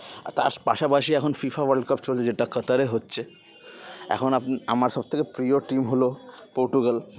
আর তার পাশাপাশি এখন FIFA World Cup চলছে যেটা কাত্তার এ হচ্ছে এখন আপ আমার সবথেকে প্রীয় team হলো পর্টুগাল